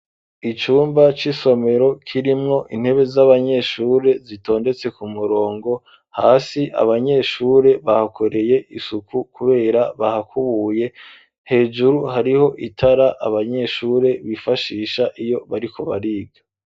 Icumba c'isomero kirimwo intebe z'abanyeshuri zitondetse ku murongo hasi abanyeshure bahakoreye isuku kubera bahakubuye hejuru hariho itara abanyeshure bifashisha iyo bariko bariga.